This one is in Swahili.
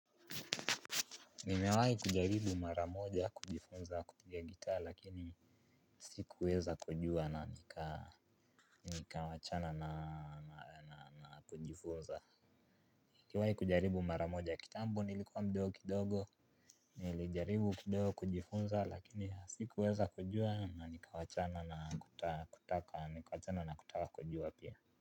Mimewahi kujaribu maramoja kujifunza kupiga gitaa lakini sikuweza kujua na nikawachana na kujifunza. Nikiwahi kujaribu mara moja kitambo nilikuwa mdogo kidogo. Nilijaribu kidogo kujifunza lakini sikuweza kujua na nikawachana na kutaka nikawachana na kutaka kujua pia.